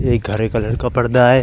एक हरे कलर का पर्दा है।